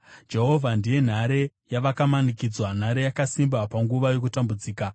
Jehovha ndiye nhare yavakamanikidzwa, nhare yakasimba panguva yokutambudzika.